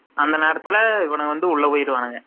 அந்த நேரத்துல இவனுங்க வந்து உள்ள போயிருவானுங்க